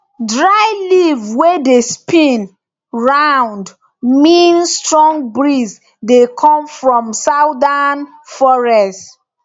dry leaf wey dey spin round mean strong breeze dey come from southern forest